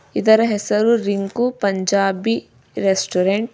ಇದರ ಹೆಸರು ರಿಂಕು ಪಂಜಾಬಿ ರೆಸ್ಟೋರೆಂಟ್ .